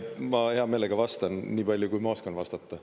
Ma heameelega vastan niipalju, kui ma oskan vastata.